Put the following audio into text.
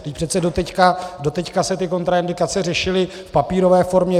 Vždyť přece doteď se ty kontraindikace řešily v papírové formě.